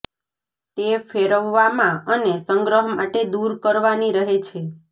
તે ફેરવવામાં અને સંગ્રહ માટે દૂર કરવાની રહે છે